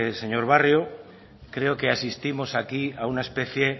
señor barrio creo que asistimos aquí a una especie